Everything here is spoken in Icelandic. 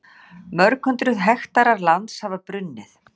Mörg hundruð hektarar lands hafa brunnið